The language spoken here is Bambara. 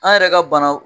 An yɛrɛ ka banaw